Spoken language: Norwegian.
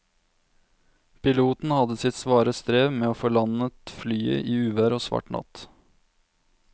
Piloten hadde sitt svare strev med å få landet flyet i uvær og svart natt.